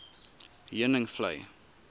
heuningvlei